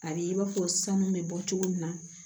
A b'i n'a fɔ sanu bɛ bɔ cogo min na